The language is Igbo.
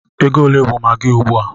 Ego ole bụ maggi ugbu a?